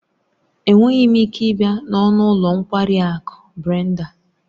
Enweghị m ike ịbịa n'ọnụ ụlọ nkwari akụ Brenda